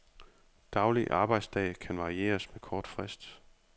Daglig arbejdsdag kan varieres med kort frist.